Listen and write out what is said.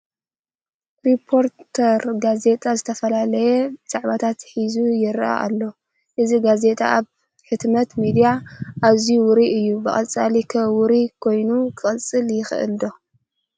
ሪፖርተር ጋዜጣ ዝተፈላለየ ዛዕባታት ሒዙ ይርአ ኣሎ፡፡ እዚ ጋዜጣ ኣብ ሕትመት ሚድያ ኣዝዩ ውሩይ እዩ፡፡ ብቐፃሊ ኸ ውሩይ ኮይኑ ክቕፅል ይኽእል ዶ?